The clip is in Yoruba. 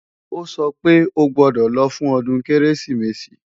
Ó sọ pé o gbọ́dọ̀ lọ fún ọdún Kérésìmesì!